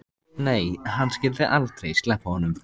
Nei, hann skyldi aldrei sleppa honum.